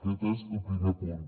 aquest és el primer punt